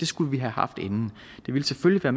skulle vi have haft inden det ville selvfølgelig